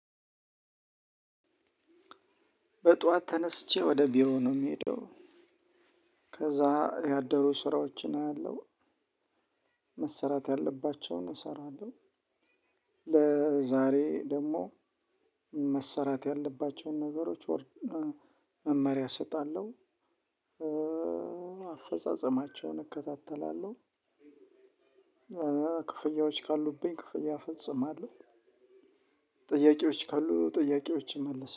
በጠዋት ተነስቼ ወደ ቢሮ ነው የምሄደው። ከዛ ያደሩ ስራዎችን አያለሁ። መሰራት ያለባቸውን እሰራለሁ። ለዛሬ ደግሞ መሰራት ያለባቸውን ነገሮች ወር መመሪያ እሰጣለሁ። አፈጻጸማቸውን እከታተላለሁ። ክፍያዎች ካሉብኝ ክፍያ ፈጽማለው። ጥያቄዎች ካሉ ጥያቄዎችን መልስ